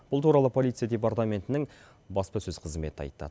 бұл туралы полиция департаментінің баспасөз қызметі айтты